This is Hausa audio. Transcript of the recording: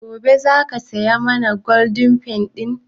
Goben za ka saya mana Golden penny ɗin?